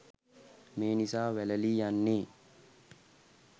මේ නිසා වැළලී යන්නේ